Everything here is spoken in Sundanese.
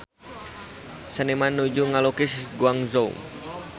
Seniman nuju ngalukis Guangzhou